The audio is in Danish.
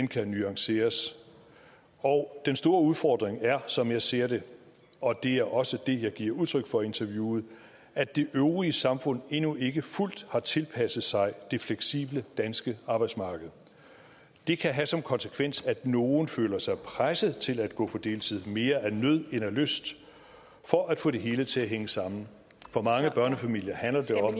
kan nuanceres og den store udfordring er som jeg ser det og det er også det jeg giver udtryk for i interviewet at det øvrige samfund endnu ikke fuldt har tilpasset sig det fleksible danske arbejdsmarked det kan have som konsekvens at nogle føler sig presset til at gå på deltid mere af nød end af lyst for at få det hele til at hænge sammen for mange børnefamilier handler det om